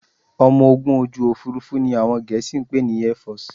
Ọmọ ogun ojú òfurufú ni àwọn Gẹ̀ẹ́sì ń pè ní Airforce